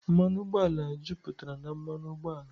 Mmanụ ụgbọala juputara na mmanụ ụgbọala.